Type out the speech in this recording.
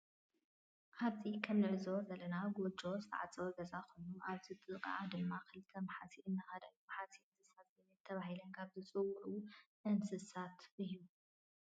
አብዚ ከም እንዕዞቦ ዘለና ጎጆ ዝተዓፀወ ገዛ ኮይኑ አብዚ ጥቂኢ ድማ ክልተ ማሕሲ እናከዳ እዩ። ማሕሲ እንስሳ ዘቤት ተባሂለን ካብ ዝፅውዑ እንስሳ እዩ።